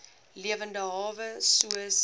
lewende hawe soos